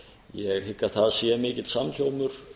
ég hygg að það sé mikill samhljómur